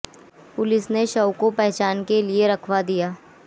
police ने शव को पहचान के लिए रखवा दिया